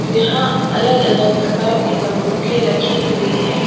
यहां अलग अलग प्रकार की बंदूके रखी हुई हैं।